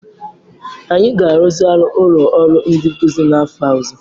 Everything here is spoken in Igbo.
Anyị ga-arụzigharị ụlọ ọrụ ndi nkuzi n'afọ ọzọ.